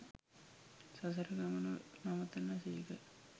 සසර ගමන නවතන සේක.